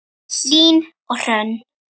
Hlín og Hrönn.